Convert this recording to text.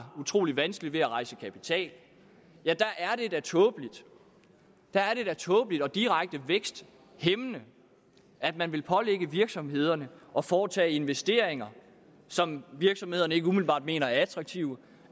utrolig vanskeligt ved at rejse kapital tåbeligt tåbeligt og direkte væksthæmmende at man vil pålægge virksomhederne at foretage investeringer som virksomhederne ikke umiddelbart mener er attraktive